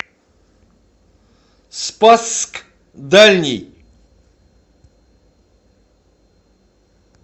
спасск дальний